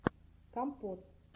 компот